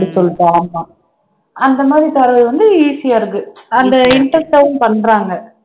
சொல்லிட்டு ஆமா அந்த மாதிரி தர்றது வந்து easy யா இருக்கு அந்த interest ஆவும் பண்றாங்க